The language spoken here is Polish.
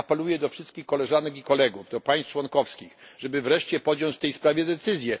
Ja apeluję do wszystkich Koleżanek i Kolegów, do państw członkowskich, żeby wreszcie podjąć w tej sprawie decyzję.